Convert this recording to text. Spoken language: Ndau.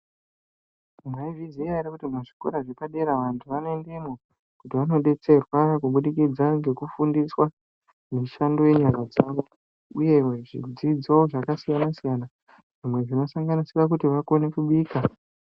Maizviziva here muzvikora zvepadera vantu vanoendamwo kuti vanoendamo kuti vandodetserwa kufundiswa mishando yenyara dzawo uye zvidzidzo zvakasiyana siyana zvimwe zvinosanganisira vakone kubika.